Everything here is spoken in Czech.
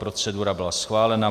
Procedura byla schválena.